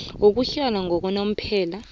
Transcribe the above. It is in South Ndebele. yokuhlala yakanomphela